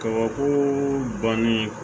Kabako bannen